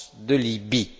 de Libye.